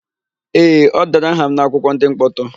Ee, e dere aha m n'akwụkwọ ndị mkpọtụ